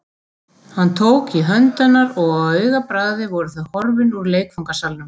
Hann tók í hönd hennar og á augabragði voru þau horfin úr leikfangasalnum.